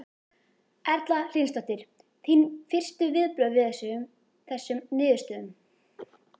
Erla Hlynsdóttir: Þín fyrstu viðbrögð við þessum niðurstöðum?